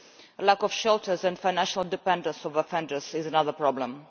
A lack of shelters, and financial dependence on offenders, is a further problem.